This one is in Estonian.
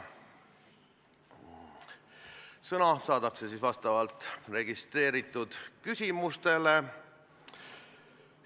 Sõna saadakse vastavalt registreeritud küsimustele.